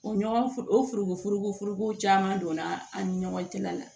O ɲɔgɔnfo o foronko furugufurugu caman donna an ni ɲɔgɔn cɛla la